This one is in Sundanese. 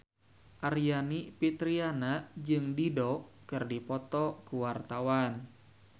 Aryani Fitriana jeung Dido keur dipoto ku wartawan